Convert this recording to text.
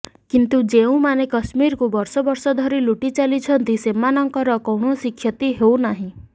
କିନ୍ତୁ ଯେଉଁମାନେ କଶ୍ମୀରକୁ ବର୍ଷ ବର୍ଷ ଧରି ଲୁଟି ଚାଲିଛନ୍ତି ସେମାନଙ୍କର କୌଣସି କ୍ଷତି ହେଉନାହିଁ